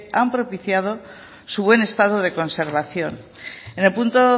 han propiciado su buen estado de conservación en el punto